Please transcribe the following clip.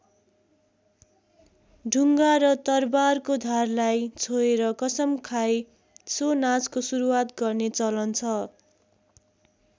ढुङ्गा र तरबारको धारलाई छोएर कसम खाई सो नाचको सुरुवात गर्ने चलन छ।